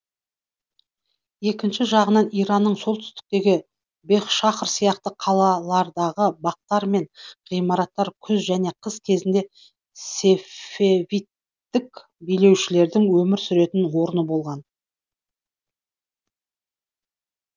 екінші жағынан иранның солтүстігіндегі бехшахр сияқты қалалардағы бақтар мен ғимараттар күз және қыс кезінде сефевидтік билеушілердің өмір сүретін орны болған